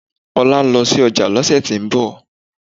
Ola ń lọ ọjà lọ́sẹ̀ tí ń bọ̀